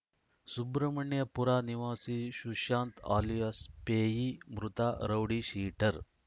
ಸುಬ್ರಹ್ಮಣ್ಯಪುರ ನಿವಾಸಿ ಸುಶಾಂತ್‌ ಅಲಿಯಾಸ್‌ ಪೇಯಿ ಮೃತ ರೌಡಿಶೀಟರ್‌